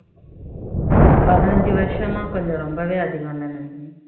பதினைந்து வருஷமெல்லாம் கொஞ்சம் ரொம்பவே அதிகம் இல்ல நந்தினி